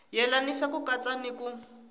yelanisa ku katsa ni ku